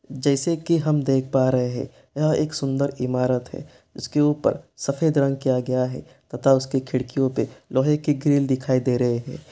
जैसे की हम देख पा रहे हैं यह एक सुंदर इमारत है| उसके ऊपर सफेद रंग किया गया है तथा उसकी खिड़कियों पे लोहे की ग्रिल दिखाई दे रही है।